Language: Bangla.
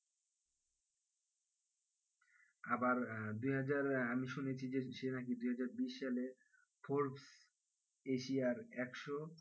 আবার আহ দুইহাজার আহ আমি শুনেছি যে সে নাকি দুইহাজার বিশসালে ফোর্বস এশিয়ার একশো,